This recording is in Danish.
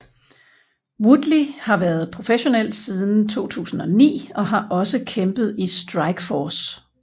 Woodley har været professionel siden 2009 og har også kæmpet i Strikeforce